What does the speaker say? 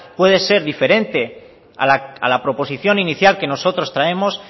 puede ser diferente a la proposición inicial que nosotros traemos